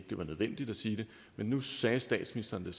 det var nødvendigt at sige det men nu sagde statsministeren